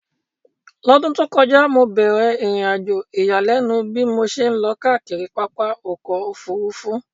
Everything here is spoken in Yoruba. L'ọ́dún tó kọjá, mo bẹ̀ẹ̀rẹ̀ ìrìnàjò ìyàlẹ́nu bí mo ṣe lọ káàkiri pápá ọkọ̀ Òfurufú